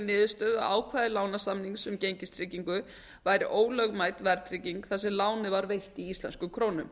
niðurstöðu að ákvæði lánasamnings um gengistryggingu væri ólögmæt verðtrygging þar sem lánið var veitt í íslenskum krónum